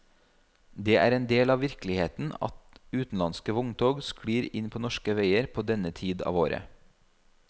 Det er en del av virkeligheten at utenlandske vogntog sklir inn på norske veier på denne tid av året.